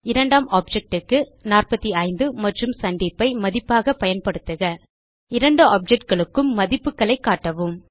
இரண்டாம் ஆப்ஜெக்ட் க்கு 45 மற்றும் சந்தீப் ஐ மதிப்பாக பயன்படுத்துக இரண்டு ஆப்ஜெக்டுகளுக்கும் மதிப்புக்களைக் காட்டவும்